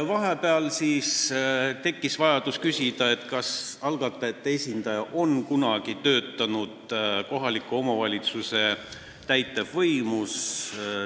Vahepeal tekkis vajadus küsida, kas algatajate esindaja on kunagi töötanud kohaliku omavalitsuse täitevvõimus.